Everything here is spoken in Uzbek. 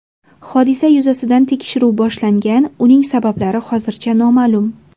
Hodisa yuzasidan tekshiruv boshlangan, uning sabablari hozircha noma’lum.